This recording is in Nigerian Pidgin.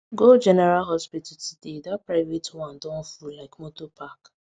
go general hospital today that private one don full like motor park